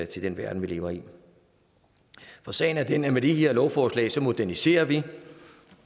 til den verden vi lever i for sagen er den at med de her lovforslag moderniserer vi